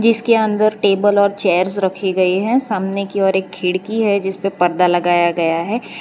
इसके अंदर टेबल और चेयर्स रखी गई हैं सामने की और एक खिड़की है जिस पे परदा लगाया गया है।